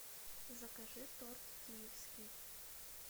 закажи торт киевский